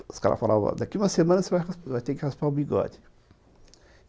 Os caras falavam, daqui uma semana você vai ter que raspar o bigode.